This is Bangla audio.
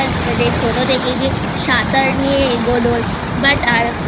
আমার মানে ছোট থেকে যে সাঁতার নিয়ে এগোনোর But আর